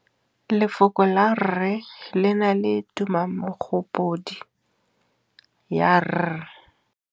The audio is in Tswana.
Lefoko la rre, le na le tumammogôpedi ya, r.